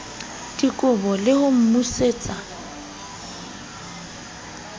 dikobo le ho mo busetsa